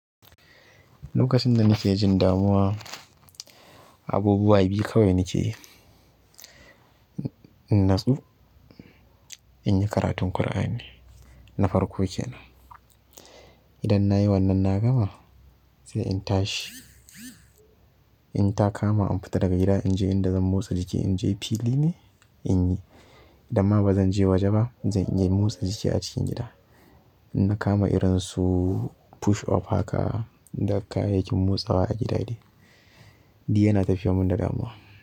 Lokacin da nake jin damuwa, abubuwa biyu kawai nake yi. Natsu inyi karatun ƙur'ani na farko kenan idan nayi wannan na gama sai in tashi in ta kama an fita daga gida, inje inda zan motsa jiki. Inje fili ne inyi, idan ma ba zanje waje ba, zan iya motsa jiki a cikin gida. Inna kama irin su push up haka da kayayyakin motsawa a gida dai, duk yana tafiyar mun da damuwa.